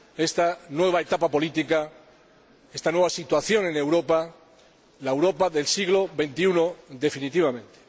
esta nueva etapa política, esta nueva situación en Europa, la Europa del siglo XXI, definitivamente.